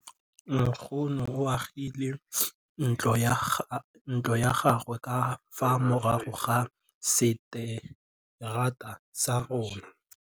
Nkgonne o agile ntlo ya gagwe ka fa morago ga seterata sa rona.